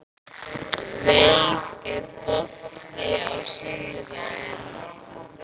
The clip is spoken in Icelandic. Veig, er bolti á sunnudaginn?